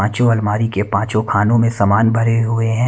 पांचों अलमारी के पांचो खानों में समान भरे हुए हैं।